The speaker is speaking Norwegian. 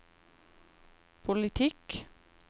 politikk